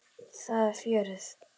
Þar er fjörið.